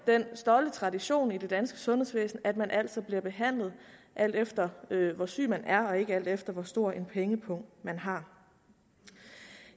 den stolte tradition i det danske sundhedsvæsen at man altid bliver behandlet alt efter hvor syg man er og ikke alt efter hvor stor en pengepung man har